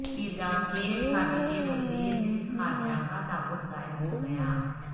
عراق کے سابق وزیر خارجہ کا تابوت غائب ہوگیا